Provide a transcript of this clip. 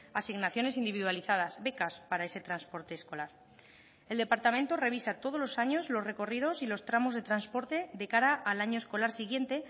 asignaciones individualizadas becas para ese transporte escolar el departamento revisa todos los años los recorridos y los tramos de transporte de cara al año escolar siguiente